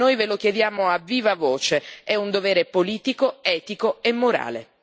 Noi ve lo chiediamo a viva voce è un dovere politico, etico e morale.